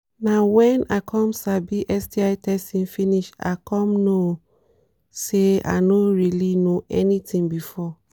na when i come sabi sti testing finish i come know say i no really know anything before.